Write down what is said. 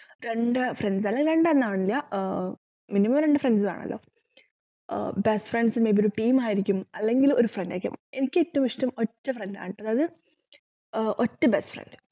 രണ്ട് friends അല്ലെങ്കി രണ്ടെണ്ണമാവണമില്ലആഹ് minimum രണ്ട് friends വേണല്ലോ ആഹ് best friends ന്റെ ഒരു team അല്ലെങ്കിൽ ഒരു friend ആയിരിക്കണം എനിക്കേറ്റവും ഇഷ്ടം ഒറ്റ friend ആണുട്ടോ അതായത് ഏർ ഒറ്റ best friend